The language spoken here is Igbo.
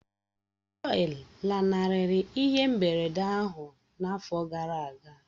Jọyi lanarịrị ihe mberede ahụ n'afọ gara aga